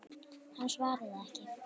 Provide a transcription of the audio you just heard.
Hann svaraði ekki.